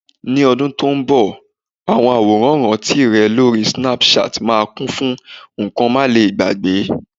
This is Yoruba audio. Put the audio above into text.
ní ọdún tí o nbọ, awọn aworan iranti rè lori Snapchat ma kún fún nkan malegbagbe